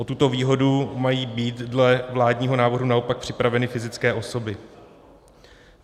O tuto výhodu mají být dle vládního návrhu naopak připraveny fyzické osoby.